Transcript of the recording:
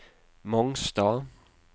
Mongstad